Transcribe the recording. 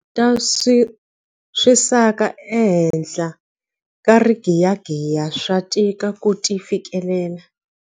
Tindhawu ta swisaka ehenhla ka rigiyagiya swa tika ku ti fikelela.